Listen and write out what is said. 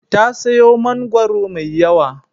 Ta sayo mangwaro mai yawa.